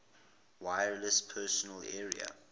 wireless personal area